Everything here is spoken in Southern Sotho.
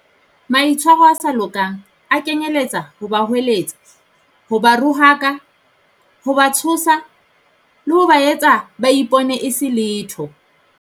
Maitshwaro a sa lokang a kenyeletsa ho ba hweletsa, ho ba rohaka, ho ba tshosa, le ho ba etsa ba ipone e se letho.